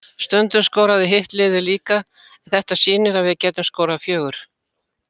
Stundum skoraði hitt liðið líka, en þetta sýnir að við getum skorað fjögur.